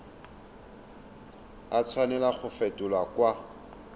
a tshwanela go fetolwa kwa